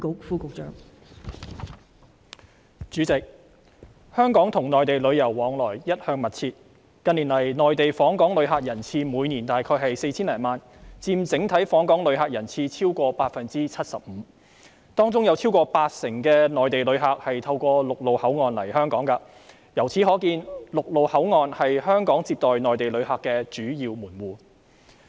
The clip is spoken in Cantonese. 代理主席，香港與內地旅遊往來一向密切，近年，內地訪港旅客人次每年大約 4,000 多萬，佔整體訪港旅客人次超過 75%， 當中有超過八成內地旅客透過陸路口岸來港，由此可見，陸路口岸是香港接待內地旅客的主要門戶。